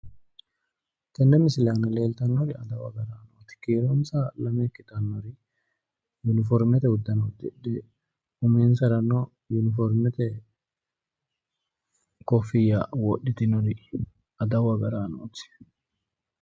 Tenne misile aana leeltannori adawu agaraanooti. Kiironsa lame ikkitannori uniformete uddano udhidhe uminsarano uniformete kooffiyya wodhitinori adawu agaraanooti.